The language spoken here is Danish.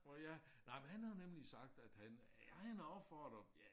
Og ja nej men han havde nemlig sagt at han han har opfordret ja